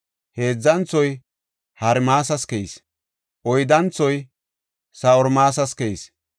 Heedzanthoy Harimas keyis. Oyddanthoy Sa7oorimas keyis.